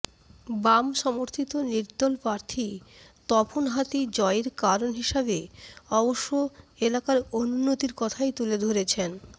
বাম সমর্থিত নির্দল প্রার্থী তপন হাতি জয়ের কারণ হিসেবে অবশ্য এলাকার অনুন্নতির কথাই তুলে ধরেছেন